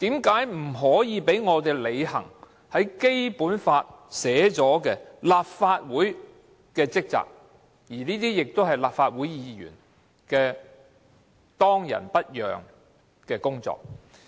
為何不讓我們履行《基本法》內訂明立法會的職責及立法會議員當仁不讓的工作？